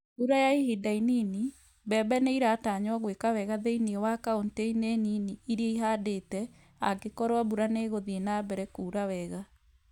Mbura ya ihinda inini, mbembe ni͂ i͂ratanywo gwi͂ka wega thi͂ini͂ wa kaunti-ini͂ nini iria i͂handete, angi͂koru͂o mbura ni͂ i͂gu͂thii͂ na mbere kuura wega